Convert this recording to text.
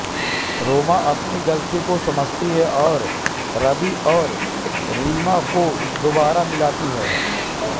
रोमा अपनी गलती को समझती है और रवि और रीमा को दोबारा मिलाती है